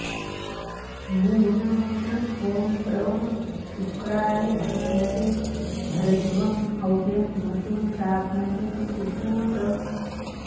मूलमन्त्रः ॐ प्रवः॑ शु॒क्राय॑ भा॒नवे॑ भरद्वँ ह॒व्यम् म॒तिं चा॒ग्नये॒ सुपू॑तम्